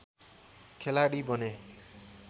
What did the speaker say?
खेलाडी बने